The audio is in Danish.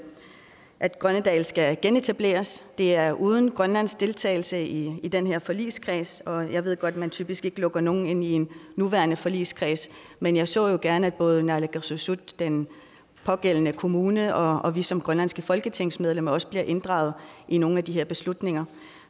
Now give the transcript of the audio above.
at grønnedal skal genetableres det er uden grønlands deltagelse i i den her forligskreds og jeg ved godt at man typisk ikke lukker nogen ind i en nuværende forligskreds men jeg så jo gerne at både naalakkersuisut den pågældende kommune og og vi som grønlandske folketingsmedlemmer også blev inddraget i nogle af de her beslutninger